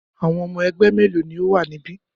Àwọn ọmọ ẹgbẹ́ mélòó ni ó wà níbí?